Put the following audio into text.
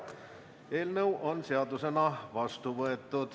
Eelnõu on seadusena vastu võetud.